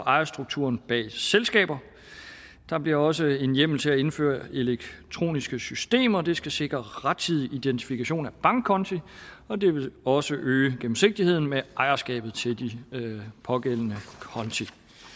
ejerstrukturen bag selskaber der bliver også en hjemmel til at indføre elektroniske systemer det skal sikre rettidig identifikation af bankkonti og det vil også øge gennemsigtigheden med ejerskabet til de pågældende konti